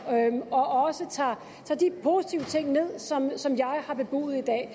og også tager de positive ting ind som jeg har bebudet i dag